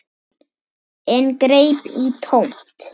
En greip í tómt.